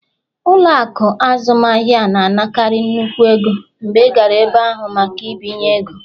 Ụlọ akụ azụmaahịa na-anakarị nnukwu ego mgbe ị gara ebe ahụ maka mbinye ego